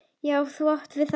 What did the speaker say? Já, þú átt við það!